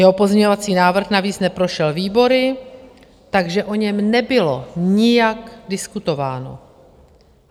Jeho pozměňovací návrh navíc neprošel výbory, takže o něm nebylo nijak diskutováno.